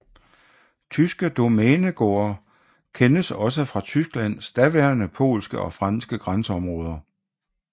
Tyske domænegårde kendes også fra Tysklands daværende polske og franske grænseområder